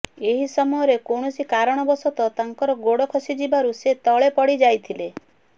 ଏହି ସମୟରେ କୌଣସି କାରଣ ବଶତଃ ତାଙ୍କର ଗୋଡ଼ ଖସିଯିବାରୁ ସେ ତଳେ ପଡ଼ିଯାଇଥିଲେ